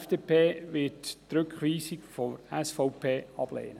Die FDP wird die Rückweisung der SVP ablehnen.